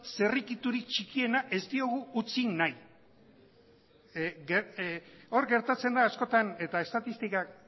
zirrikiturik txikiena ez diogu utzi nahi hor gertatzen da askotan eta estatistikak